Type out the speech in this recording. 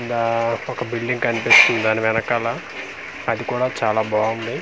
ఈడా ఒక బిల్డింగ్ కన్పిస్తుంది దాని వెనకాల అది కూడా చాలా బావుంది.